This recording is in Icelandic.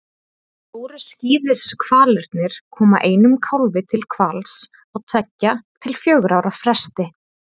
Stóru skíðishvalirnir koma einum kálfi til hvals á tveggja til fjögurra ára fresti.